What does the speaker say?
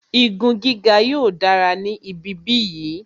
Igun gíga yóò dára ní ibi bí yìí